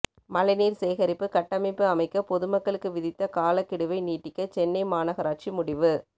மழைநீர் சேகரிப்பு கட்டமைப்பு அமைக்க பொதுமக்களுக்கு விதித்த காலக்கெடுவை நீட்டிக்க சென்னை மாநகராட்சி முடிவு